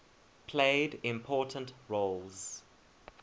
played important roles